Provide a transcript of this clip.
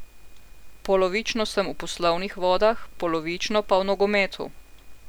Polovično sem v poslovnih vodah, polovično pa v nogometu.